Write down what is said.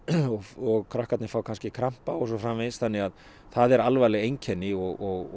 og krakkarnir fá kannski krampa og svo framvegis þannig að það eru alvarleg einkenni og